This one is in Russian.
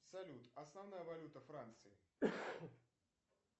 салют основная валюта франции